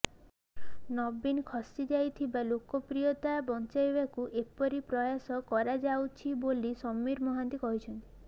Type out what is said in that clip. ନବୀନ ଖସିଯାଇଥିବା ଲୋକପ୍ରିୟତା ବଂଚାଇବାକୁ ଏପରି ପ୍ରୟାସ କରାଯାଉଛି ବୋଲି ସମୀର ମହାନ୍ତି କହିଛନ୍ତି